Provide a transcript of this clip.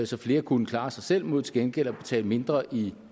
så flere kunne klare sig selv mod til gengæld at betale mindre i